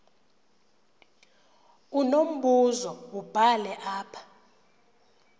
unombuzo wubhale apha